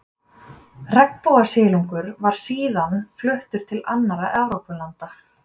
Regnbogasilungur var síðan fluttur til annarra Evrópulanda.